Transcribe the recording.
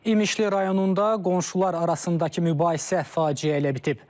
İmişli rayonunda qonşular arasındakı mübahisə faciə ilə bitib.